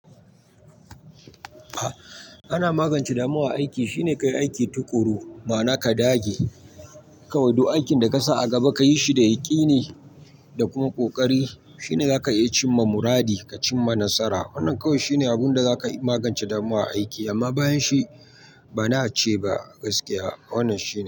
Ana magance damuwa aiki shi ne ka yi aiki tuƙuru, ma'ana ka dage. Kawai duk aikin da ka sa a gaba ka yi shi da yaƙini da kuma ƙoƙari shi ne za ka iya cimma muradi ka cimma nasara. Wannan kawai shi ne abin da zaka magance damuwa aiki amma bayan shi bana ce ba gaskiya wannan shi ne.